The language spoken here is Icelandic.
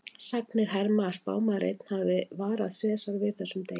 Sagnir herma að spámaður einn hafi varað Sesar við þessum degi.